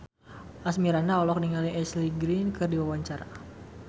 Asmirandah olohok ningali Ashley Greene keur diwawancara